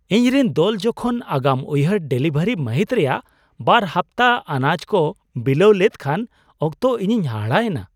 ᱤᱧᱨᱤᱱ ᱫᱚᱞ ᱡᱚᱠᱷᱚᱱ ᱟᱜᱟᱢ ᱩᱭᱦᱟᱹᱨ ᱰᱮᱞᱤᱵᱷᱟᱨᱤ ᱢᱟᱹᱦᱤᱛ ᱨᱮᱭᱟᱜ ᱒ ᱦᱟᱯᱛᱟ ᱟᱱᱟᱡ ᱠᱚ ᱵᱤᱞᱟᱹᱣ ᱠᱮᱫ ᱠᱷᱟᱱ ᱚᱠᱛᱚ ᱤᱧᱤᱧ ᱦᱟᱦᱟᱲᱟ ᱮᱱᱟ ᱾